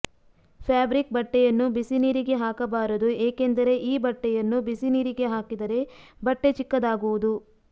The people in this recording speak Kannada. ಫ್ಯಾಬ್ರಿಕ್ ಬಟ್ಟೆಯನ್ನು ಬಿಸಿ ನೀರಿಗೆ ಹಾಕಬಾರದು ಏಕೆಂದರೆ ಈ ಬಟ್ಟೆಯನ್ನು ಬಿಸಿ ನೀರಿಗೆ ಹಾಕಿದರೆ ಬಟ್ಟೆ ಚಿಕ್ಕದಾಗುವುದು